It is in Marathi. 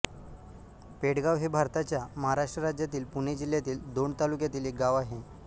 पेडगाव हे भारताच्या महाराष्ट्र राज्यातील पुणे जिल्ह्यातील दौंड तालुक्यातील एक गाव आहे